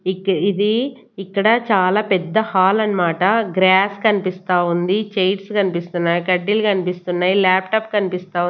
ఇక్ ఇది ఇక్కడ చాలా పెద్ద హాల్ అన్మాట గ్రాస్ కనిపిస్తా ఉంది చేర్స్ కనిపిస్తున్నయ్ కడ్డీలు కనిపిస్తున్నయ్ లాప్టాప్ కన్పిస్తా--